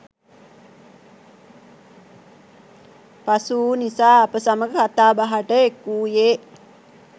පසුවූ නිසා අප සමඟ කතා බහට එක්වූයේ